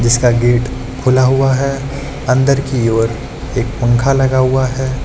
इसका गेट खुला हुआ है अंदर की ओर एक पंखा लगा हुआ है।